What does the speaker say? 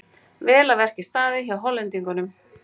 Vel að verki staðið hjá Hollendingnum.